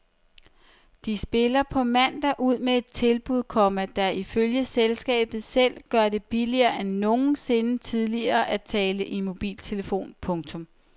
De spiller på mandag ud med et tilbud, komma der ifølge selskabet selv gør det billigere end nogensinde tidligere at tale i mobiltelefon. punktum